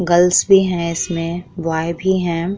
Girls भी हैं इसमें बॉय भी हैं।